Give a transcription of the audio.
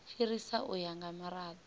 fhirisa u ya nga mirado